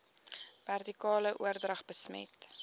vertikale oordrag besmet